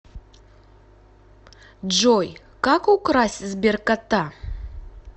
джой как украсть сберкота